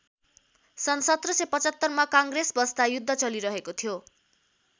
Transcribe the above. सन् १७७५ मा काङ्ग्रेस बस्दा युद्ध चलिरहेको थियो।